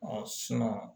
Ɔ